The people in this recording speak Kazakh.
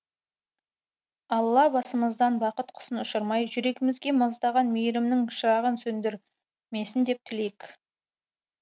алла басымыздан бақыт құсын ұшырмай жүрегімізде маздаған мейірімнің шырағын сөндірмесін деп тілейік